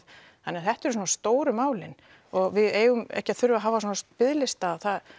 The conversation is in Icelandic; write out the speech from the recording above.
þannig að þetta eru svona stóru málin og við eigum ekki að þurfa að hafa svona biðlista það